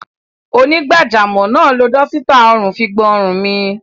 Onígbàjamọ̀ náà lo dọ́sítà ọrùn fi gbọn ọrùn mi.